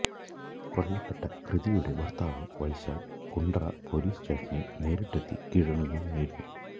കൊല്ലപ്പെട്ട കൃതിയുടെ ഭര്ത്താവ് വൈശാഖ് കുണ്ടറ പൊലീസ് സ്റ്റേഷനില് നേരിട്ടെത്തി കീഴടങ്ങുകയായിരുന്നു